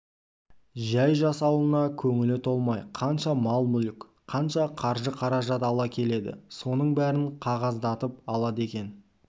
жәй жасауына көңілі толмай қанша мал-мүлік қанша қаржы-қаражат ала келеді соның бәрін қағаздатып алады екен